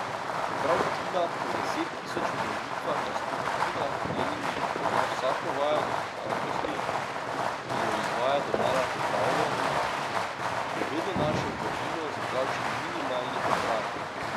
Čeprav Tina po deset tisoč ponovitvah na stotinah treningih pozna vsako vajo do potankosti in jo izvaja domala popolno, je vedno našel prvino za kakšen minimalni popravek.